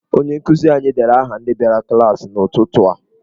Onye nkụzi anyị deere aha ndị bịara klaasị n'ụtụtụ a.